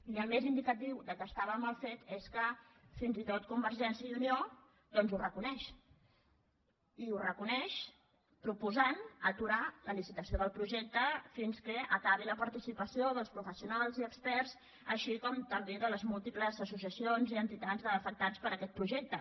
i el més indicatiu que estava mal fet és que fins i tot convergència i unió doncs ho reconeix i ho reconeix proposant aturar la licitació del projecte fins que acabi la participació dels professionals i experts així com també de les múltiples associacions i entitats d’afectats per aquest projecte